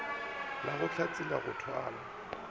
la go hlatsela go thwala